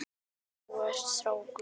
Naumast þú ert kátur.